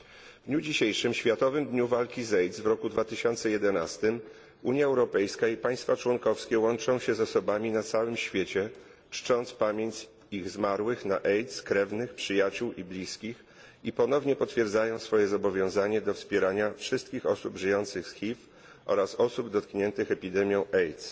W dniu dzisiejszym, w Światowym Dniu Walki z AIDS w roku 2011, Unia Europejska i państwa członkowskie łączą się z osobami na całym świecie, czcząc pamięć ich zmarłych na AIDS krewnych, przyjaciół i bliskich, i ponownie potwierdzają swoje zobowiązanie do wspierania wszystkich osób żyjących z HIV oraz osób dotkniętych epidemią AIDS.